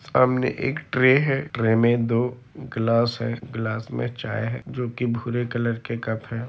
सामने एक ट्रे है ट्रे में दो ग्लास है ग्लास में चाय है जो की भूरे कलर के कप हैं।